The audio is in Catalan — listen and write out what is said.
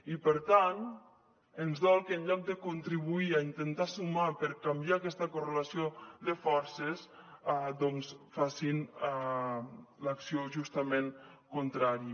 i per tant ens dol que en lloc de contribuir a intentar sumar per canviar aquesta correlació de forces facin l’acció justament contrària